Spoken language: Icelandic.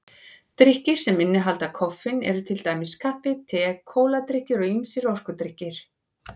Drykkir sem innihalda koffein eru til dæmis kaffi, te, kóladrykkir og ýmsir orkudrykkir.